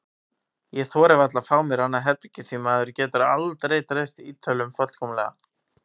Ég þori varla að fá mér annað herbergi því maður getur aldrei treyst Ítölunum fullkomlega.